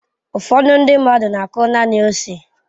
Ụfọdụ ndị mmadụ na-akụ naanị ose.